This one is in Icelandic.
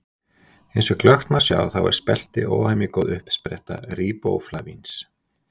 eins og glöggt má sjá þá er spelti óhemju góð uppspretta ríbóflavíns